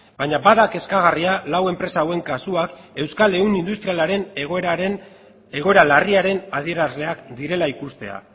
baina bai da kezkagarria lau enpresa hauen kasuak euskal ehun industrialaren egoera larriaren adierazleak direla ikustea